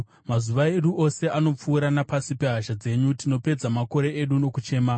Mazuva edu ose anopfuura napasi pehasha dzenyu; tinopedza makore edu nokuchema.